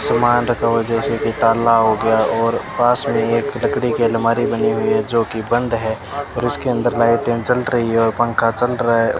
सामान रखा हुआ है जैसे कि ताला हो गया और पास में एक लकड़ी के अलमारी बनी हुई है जो कि बंद है और उसके अंदर लाइटें जल रही है और पंखा चल रहा है।